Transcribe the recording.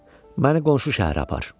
“Məni qonşu şəhərə apar.”